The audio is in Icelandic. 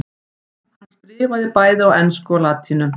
hann skrifaði bæði á ensku og latínu